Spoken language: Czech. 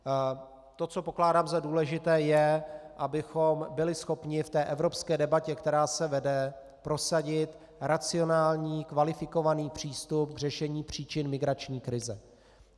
To, co pokládám za důležité, je, abychom byli schopni v té evropské debatě, která se vede, prosadit racionální, kvalifikovaný přístup k řešení příčin migrační krize.